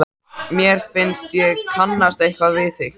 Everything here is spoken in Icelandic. Mér finnst ég kannast eitthvað við þig?